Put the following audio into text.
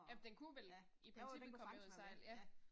Jamen den kunne vel i princippet komme med ud og sejle ja